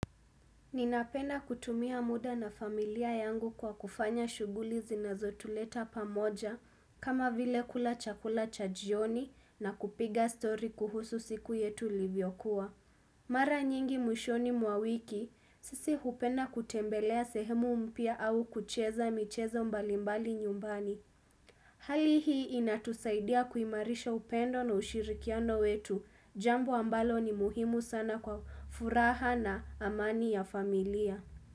Ninapenda kutumia muda na familia yangu kwa kufanya shughuli zinazotuleta pamoja kama vile kula chakula cha jioni na kupiga story kuhusu siku yetu ilivyokuwa Mara nyingi mwishoni mwa wiki sisi hupenda kutembelea sehemu mpya au kucheza michezo mbalimbali nyumbani Hali hii inatusaidia kuimarisha upendo na ushirikiano wetu jambo ambalo ni muhimu sana kwa furaha na amani ya familia.